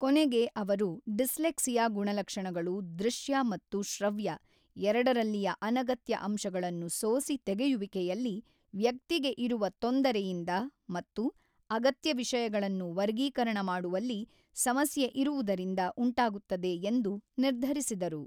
ಕೊನೆಗೆ ಅವರು ಡಿಸ್ಲೆಕ್ಸಿಯಾ ಗುಣಲಕ್ಷಣಗಳು ದೃಶ್ಯ ಮತ್ತು ಶೃವ್ಯ ಎರಡರಲ್ಲಿಯ ಅನಗತ್ಯ ಅಂಶಗಳನ್ನು ಸೋಸಿ ತೆಗೆಯುವಿಕೆಯಲ್ಲಿ ವ್ಯಕ್ತಿಗೆ ಇರುವ ತೊಂದರೆಯಿಂದ ಮತ್ತು ಅಗತ್ಯ ವಿಷಯಗಳನ್ನು ವರ್ಗೀಕರಣ ಮಾಡುವಲ್ಲಿ ಸಮಸ್ಯೆ ಇರುವುದರಿಂದ‌ ಉಂಟಾಗುತ್ತದೆ ಎಂದು ನಿರ್ಧರಿಸಿದರು.